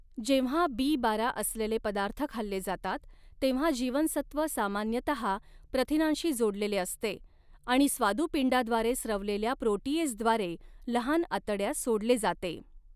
जेव्हा बी बारा असलेले पदार्थ खाल्ले जातात, तेव्हा जीवनसत्व सामान्यतहा प्रथिनांशी जोडलेले असते आणि स्वादुपिंडाद्वारे स्त्रवलेल्या प्रोटीएजद्वारे लहान आतड्यात सोडले जाते.